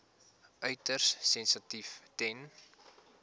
uiters sensitief ten